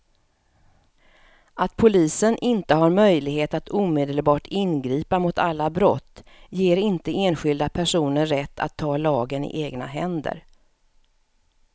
Att polisen inte har möjlighet att omedelbart ingripa mot alla brott ger inte enskilda personer rätt att ta lagen i egna händer.